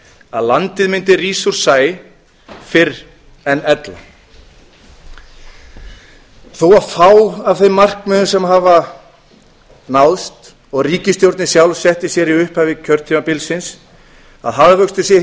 að landið mundi rísa úr sæ fyrr en ella þó að fá af þeim markmiðum sem hafa náðst og ríkisstjórnin sjálf setti sér í upphafi kjörtímabilsins að hagvöxtur sé